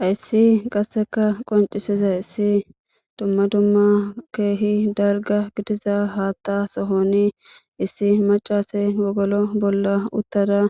Hayssi qasseka qonccisizayssi dumma dumma keehi dalgga gidiza haata sohoni issi macca asi wogolo bolla uttada